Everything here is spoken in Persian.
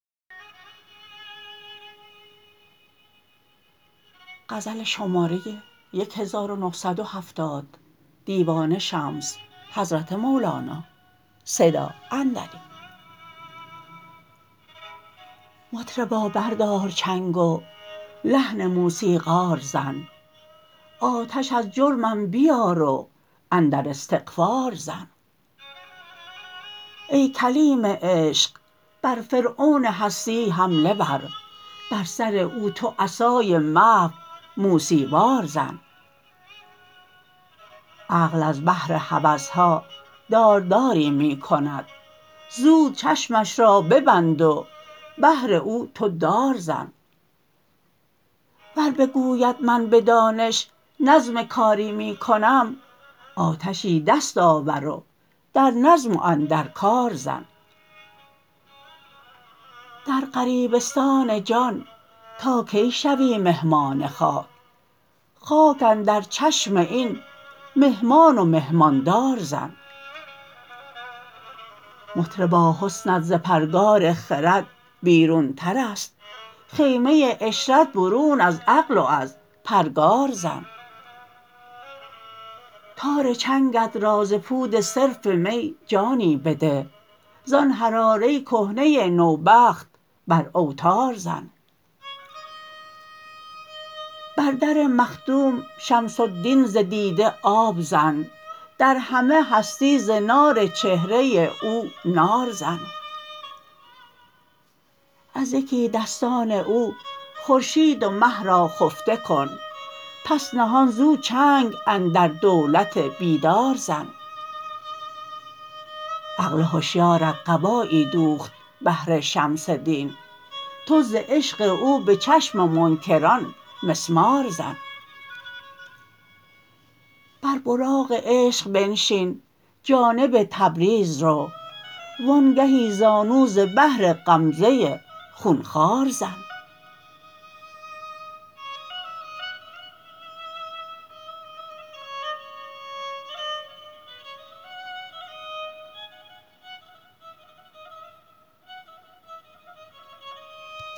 مطربا بردار چنگ و لحن موسیقار زن آتش از جرمم بیار و اندر استغفار زن ای کلیم عشق بر فرعون هستی حمله بر بر سر او تو عصای محو موسی وار زن عقل از بهر هوس ها دارداری می کند زود چشمش را ببند و بهر او تو دار زن ور بگوید من به دانش نظم کاری می کنم آتشی دست آور و در نظم و اندر کار زن در غریبستان جان تا کی شوی مهمان خاک خاک اندر چشم این مهمان و مهمان دار زن مطربا حسنت ز پرگار خرد بیرونتر است خیمه عشرت برون از عقل و از پرگار زن تار چنگت را ز پود صرف می جانی بده زان حراره کهنه نوبخت بر اوتار زن بر در مخدوم شمس الدین ز دیده آب زن در همه هستی ز نار چهره او نار زن از یکی دستان او خورشید و مه را خفته کن پس نهان زو چنگ اندر دولت بیدار زن عقل هشیارت قبایی دوخت بهر شمس دین تو ز عشق او به چشم منکران مسمار زن بر براق عشق بنشین جانب تبریز رو و آنگهی زانو ز بهر غمزه خون خوار زن